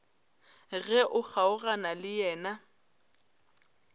ge o kgaogana le yena